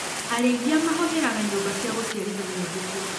Arĩithia mahũthĩraga nyumba cia gũciarithania mbũkũ.